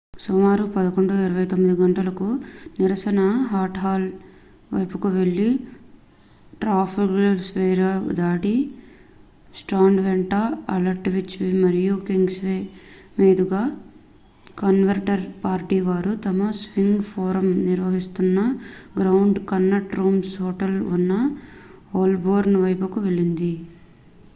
సుమారు 11:29 గంటలకు నిరసన వైట్హాల్ వైపుకు వెళ్ళి ట్రాఫాల్గర్ స్క్వేర్ దాటి స్ట్రాండ్ వెంట ఆల్డ్విచ్ మరియు కింగ్స్వే మీదుగా కన్జర్వేటివ్ పార్టీ వారు తమ స్ప్రింగ్ ఫోరమ్ నిర్వహిస్తోన్న గ్రాండ్ కన్నాట్ రూమ్స్ హోటల్ ఉన్న హోల్బోర్న్ వైపుకు వెళ్ళింది